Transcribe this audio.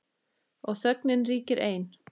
Og þögnin ríkir ein.